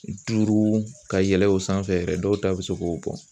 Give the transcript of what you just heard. Duuru ka yɛlɛ o sanfɛ yɛrɛ dɔw ta bɛ se k'o bɔ.